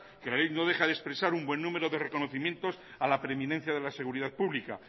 que la ley no deja de expresar un buen número de reconocimiento a la preeminencia de la seguridad pública